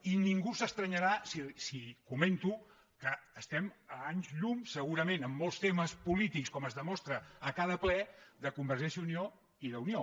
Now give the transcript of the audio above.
i ningú s’estranyarà si comento que es·tem a anys llum segurament en molts temes polítics com es demostra a cada ple de convergència i unió i d’unió